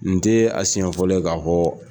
Nin tɛ a siɲɛfɔlɔ ye k'a hɔ